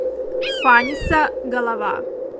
фаниса голова